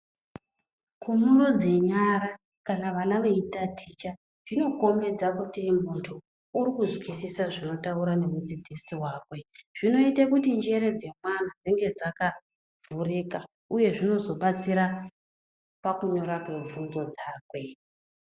Kumurudze nyara kana vana veitaticha zvinokombedza kuti muntu urikuzwisisa zvinotaurwa ngemudzidzisi wakwe. Zvinoita kuti njere dzemwana dzinenge dzakavhurika uye zvinozovabatsira pakunyora kwevhunzo dzakwe.